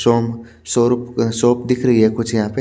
जो शॉप दिख रही है कुछ यहां पर --